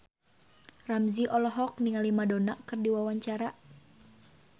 Ramzy olohok ningali Madonna keur diwawancara